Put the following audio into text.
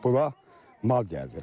Bular mina gəzirmiş.